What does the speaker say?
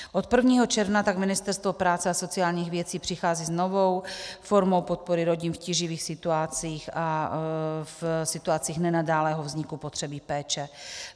Od 1. června tak Ministerstvo práce a sociálních věcí přichází s novou formou podpory rodin v tíživých situacích a v situacích nenadálého vzniku potřeby péče.